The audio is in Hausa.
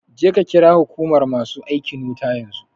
Je ka ƙira huƙumar masu aikin wuta yanzu